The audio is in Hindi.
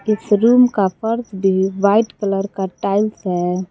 इस रूम का फर्श भी व्हाइट कलर का टाइल्स है।